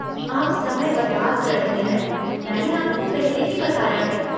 आप समय बर्बाद कर रहे हैं, मैंने आपको पहले ही बताया है।